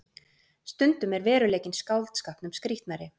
Stundum er veruleikinn skáldskapnum skrítnari